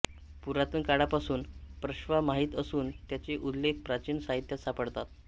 पुरातन काळापासून प्रश्वा माहीत असून त्याचे उल्लेख प्राचीन साहित्यात सापडतात